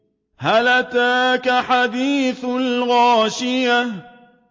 هَلْ أَتَاكَ حَدِيثُ الْغَاشِيَةِ